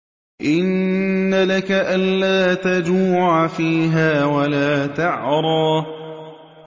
إِنَّ لَكَ أَلَّا تَجُوعَ فِيهَا وَلَا تَعْرَىٰ